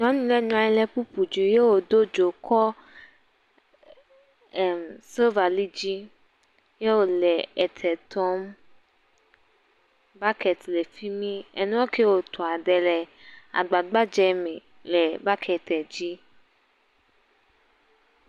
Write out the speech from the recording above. Nyɔnu ɖe nɔ anyi kpukpu dzi ye wòdo dzo kɔ emm.. silva li dzi ye wòle etɔ tɔm, bakɛt le fimi, enuɔ kiɛ wòtɔa, ɖe le agba gbadzɛ me le bakɛt dzi.